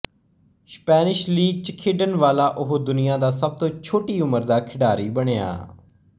Spanish league ਚ ਖੇਡਣ ਵਾਲਾ ਉਹ ਦੁਨੀਆਂ ਦਾ ਸਭ ਤੋਂ ਛੋਟੀ ਉਮਰ ਦਾ ਖਿਡਾਰੀ ਬਣਿਆ